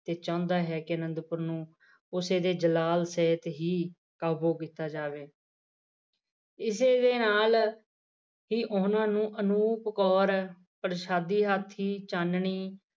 ਤੇ ਚਾਹੁੰਦਾ ਹੈ ਕਿ ਅਨੰਦਪੁਰ ਨੂੰ ਉਸੇ ਦੇ ਜਲਾਲ ਸਹਿਤ ਹੀ ਕਾਬੂ ਕੀਤਾ ਜਾਵੇ। ਇਸੇ ਦੇ ਨਾਲ ਹੀ ਉਹਨਾਂ ਨੂੰ ਅਨੂਪ ਕੌਰ ਪ੍ਰਸ਼ਾਦੀ ਹੱਥ ਦੀ ਚਾਨਣੀ